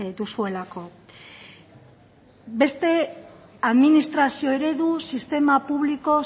duzuelako beste administrazio eredu sistema publiko